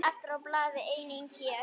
Efstur á blaði einnig hér.